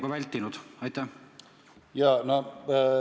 Kas te olete selle eelnõu puhul seda mõelnud?